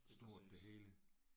Præcis